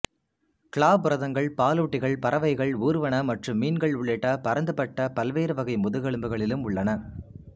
க்ளாபுரதங்கள் பாலூட்டிகள் பறவைகள் ஊர்வன மற்றும் மீன்கள் உள்ளிட்ட பரந்துபட்ட பல்வேறு வகை முதுகெலும்பிகளிலும் உள்ளன